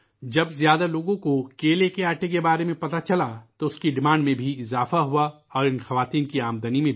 جب زیادہ لوگوں کو کیلے کے آٹے کے بارے میں پتہ چلا تو اُس کی مانگ بھی بڑی اور ان عورتوں کی آمدنی بھی